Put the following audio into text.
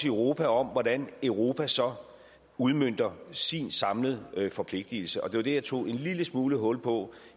i europa om hvordan europa så udmønter sin samlede forpligtelse og det var det jeg tog en lille smule hul på